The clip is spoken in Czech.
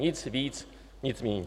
Nic víc, nic méně.